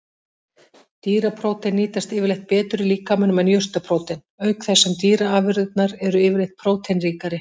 Dýraprótein nýtast yfirleitt betur í líkamanum en jurtaprótein, auk þess sem dýraafurðirnar eru yfirleitt próteinríkari.